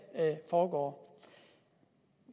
foregår